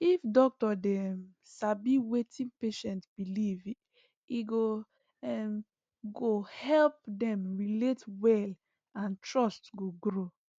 if doctor dey um sabi wetin patient believe e um go help dem relate well and trust go grow